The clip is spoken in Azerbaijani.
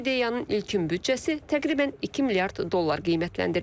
Bu ideyanın ilkin büdcəsi təqribən 2 milyard dollar qiymətləndirilir.